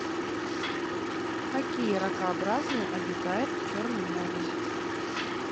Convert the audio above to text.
какие ракообразные обитают в черном море